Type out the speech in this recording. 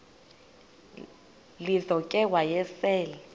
lizo ke wayesel